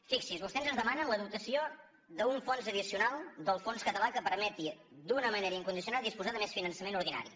fixi’s vostès ens demanen la dotació d’un fons addicional del fons català que permeti d’una manera incondicional disposar de més finançament ordinari